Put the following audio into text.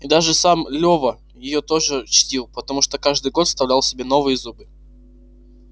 и даже сам лева её тоже чтил потому что каждый год вставлял себе новые зубы